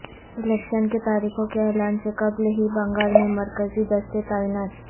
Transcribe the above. election کی تاریخوں کے اعلان سے قبل ہی بنگال میں مرکزی دستے تعینات